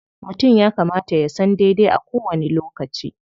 Mutum ya kamata ya san daidai a kowani lokaci.